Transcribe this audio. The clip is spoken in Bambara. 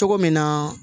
Cogo min na